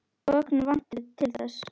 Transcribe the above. Gögn vanti til þess.